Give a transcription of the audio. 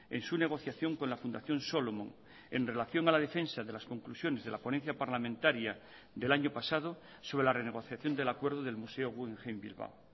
en su negociación con la fundación solomon en relación a la defensa de las conclusiones de la ponencia parlamentaria del año pasado sobre la renegociación del acuerdo del museo guggenheim bilbao